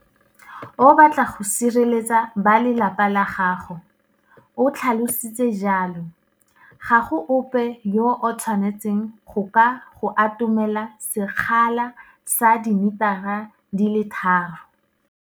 O batla go sireletsa balelapa la gago, o tlhalositse jalo. Ga go ope yo a tshwanetseng go ka go atumela sekgala sa dimitara di le tharo.